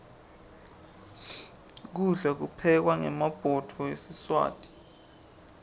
kudla kuphekwa ngemabhudo esiswati